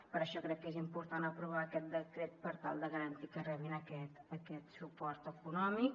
per això crec que és important aprovar aquest decret per tal de garantir que rebin aquest suport econòmic